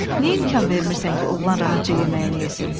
"Niyə imkan vermirsən ki, oğlan rahatca yeməyini yesin?"